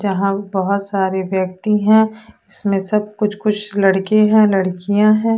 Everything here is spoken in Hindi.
जहां बहोत सारे व्यक्ति हैं इसमे सब कुछ कुछ लड़के हैं लड़कियां हैं।